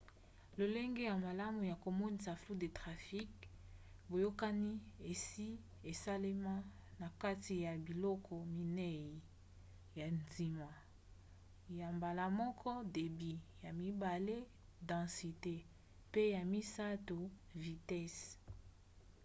lolenge ya malamu ya komonisa flux de trafic boyokani esi esalema na kati ya biloko minei ya ntina: 1 débit 2 densité mpe 3 vitese